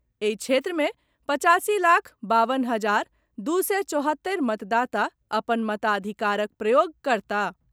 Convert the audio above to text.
एहि क्षेत्र मे पच्चासी लाख बावन हजार दू सय चौहत्तरि मतदाता अपन मताधिकारक प्रयोग करताह।